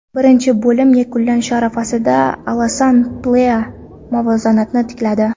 Birinchi bo‘lim yakunlanishi arafasida Alasan Plea muvozanatni tikladi.